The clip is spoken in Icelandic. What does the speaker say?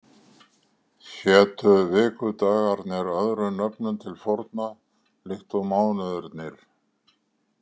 Hétu vikudagarnir öðrum nöfnum til forna líkt og mánuðirnir?